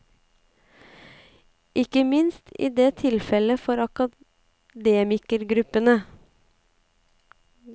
Ikke minst er det tilfelle for akademikergruppene.